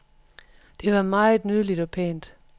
Det var meget nydeligt og pænt.